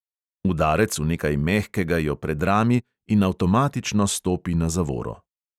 Udarec v nekaj mehkega jo predrami in avtomatično stopi na zavoro.